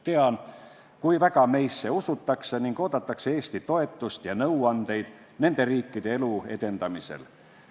Tean, kui väga meisse usutakse ning oodatakse Eesti toetust ja nõuandeid nende riikide elu edendamisel.